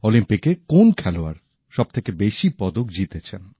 অলিম্পিকে কোন খেলোয়াড় সবথেকে বেশি পদক জিতেছেন